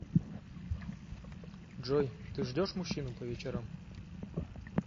джой ты ждешь мужчину по вечерам